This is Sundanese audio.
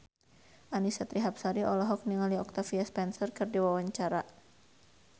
Annisa Trihapsari olohok ningali Octavia Spencer keur diwawancara